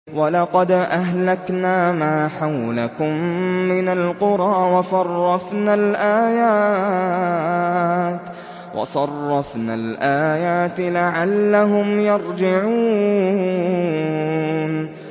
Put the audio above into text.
وَلَقَدْ أَهْلَكْنَا مَا حَوْلَكُم مِّنَ الْقُرَىٰ وَصَرَّفْنَا الْآيَاتِ لَعَلَّهُمْ يَرْجِعُونَ